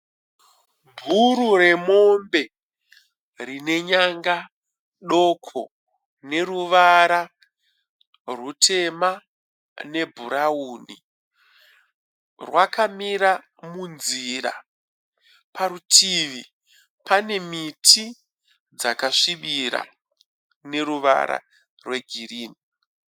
Bhuru remombe rine nyanga doko neruvara rutema nebhurauni. Rwakamira munzira. Parutivi pane miti dzakasvibira neruvara rwegirinhi.